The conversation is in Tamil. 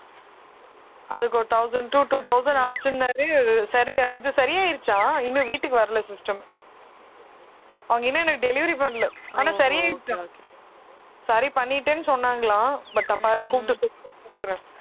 அதுக்கு ஒரு thousand to two thousand ஆச்சுன்னாரு சரி இது சரி ஆயிடுச்சாம் இன்னும் வீட்டுக்கு வரல system அவங்க இன்னும் எனக்கு delivery பண்ணல ஆனா சரி ஆயிடுச்சாம் சரி பண்ணிட்டேன்னு சொன்னாங்களாம் but கூப்பிட்டு கூப்பிடுறேன்